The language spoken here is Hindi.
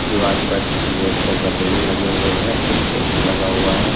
दीवार पर रेड कलर का बैलून लगे हुए हैं एक ए_सी लगा हुआ है।